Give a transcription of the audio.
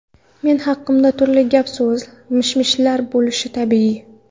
Men haqimda turli gap-so‘zlar, mish-mishlar bo‘lishi tabiiy.